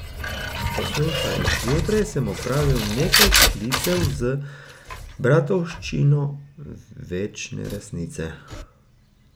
Poslušaj, zjutraj sem opravil nekaj klicev z Bratovščino večne resnice.